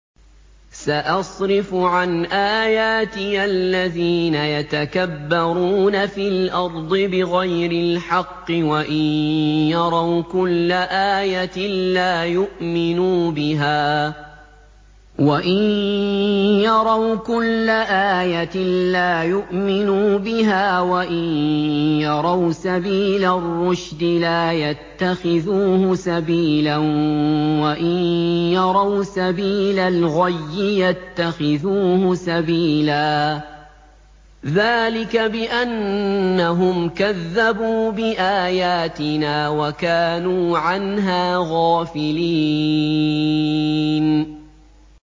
سَأَصْرِفُ عَنْ آيَاتِيَ الَّذِينَ يَتَكَبَّرُونَ فِي الْأَرْضِ بِغَيْرِ الْحَقِّ وَإِن يَرَوْا كُلَّ آيَةٍ لَّا يُؤْمِنُوا بِهَا وَإِن يَرَوْا سَبِيلَ الرُّشْدِ لَا يَتَّخِذُوهُ سَبِيلًا وَإِن يَرَوْا سَبِيلَ الْغَيِّ يَتَّخِذُوهُ سَبِيلًا ۚ ذَٰلِكَ بِأَنَّهُمْ كَذَّبُوا بِآيَاتِنَا وَكَانُوا عَنْهَا غَافِلِينَ